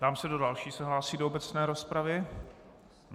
Ptám se, kdo další se hlásí do obecné rozpravy.